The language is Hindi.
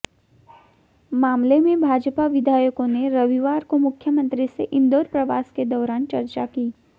मामले में भाजपा विधायकों ने रविवार को मुख्यमंत्री से इंदौर प्रवास के दौरान चर्चा की